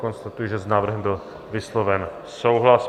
Konstatuji, že s návrhem byl vysloven souhlas.